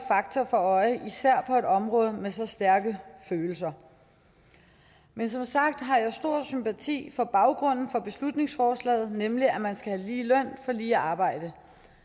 fakta for øje især på et område med så stærke følelser men som sagt har jeg stor sympati for baggrunden for beslutningsforslaget nemlig at man skal have lige løn for lige arbejde